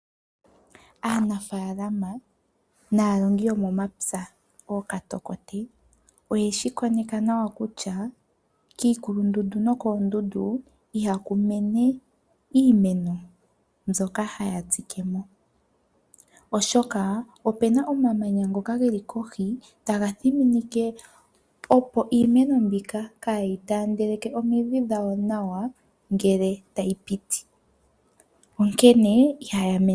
Aanafaalama naalongi yomomapya ano ookatokoti oye shi koneka nawa kutya kiikulundundu nokoondundu ihauku mene iimeno mbyoka haya tsike mo oshoka opuna omamanya ngoka gelei kohi taga thiminike iimeno mbika kaayitaandele omidhi dhawo nawa ngele tayi piti.